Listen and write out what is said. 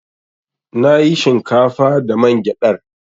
Na yi shinkafa da man gyadar.